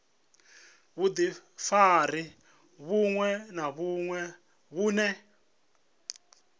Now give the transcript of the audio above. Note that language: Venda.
vhudifari vhuṅwe na vhuṅwe vhune